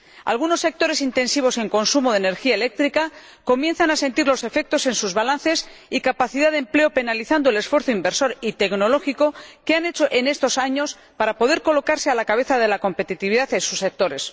Algunos sectores intensivos en consumo de energía eléctrica comienzan a sentir los efectos en sus balances y capacidad de empleo, penalizando el esfuerzo inversor y tecnológico que han hecho en estos años para poder colocarse a la cabeza de la competitividad en sus sectores.